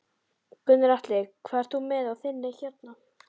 Gunnar Atli: Hvað ert þú með á þinni hérna?